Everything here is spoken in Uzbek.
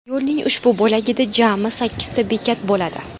Yo‘lning ushbu bo‘lagida jami sakkizta bekat bo‘ladi.